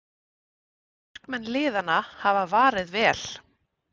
Markmenn liðanna hafa varið vel